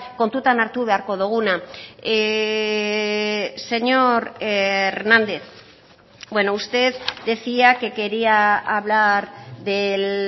kontutan hartu beharko duguna señor hernández bueno usted decía que quería hablar del